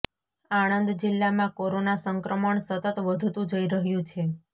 આણંદ જિલ્લામાં કોરોનાં સંક્રમણ સતત વધતું જઈ રહ્યું છે